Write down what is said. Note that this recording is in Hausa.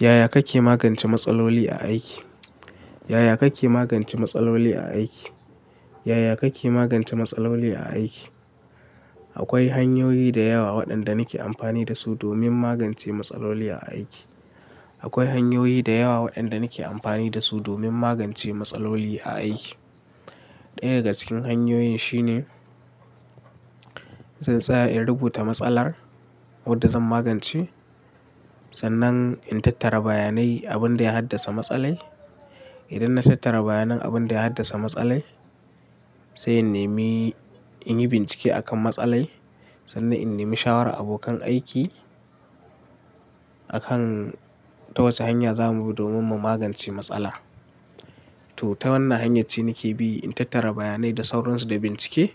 Yaya kake magance matsaloli a aiki? Yaya kake magance matsaloli a aiki? Yaya kake magance matsaloli a aiki? Akwai hanyoyi da yawa waɗanda nake amfani da su domin magance matsaloli a aiki. Akwai hanyoyi da yawa waɗanda nake amfani da su domin magance matsaloli a aiki. Ɗaya daga cikin hanyoyin shine zan tsaya in rubuta matsalar wadda zan magance, sannan in tattara bayanai abin da ya haddasa matsalai. Idan na tattara bayanan abin da ya haddasa matsalai, sai in neme, in yi bincike a kan matsalai sannan in neme shawara abokan aiki a kan ta wace hanya za mu bi domin mu magance matsala. To, ta wannan hanyar ce nake bi, in tattara bayanai da sauransu da bincike,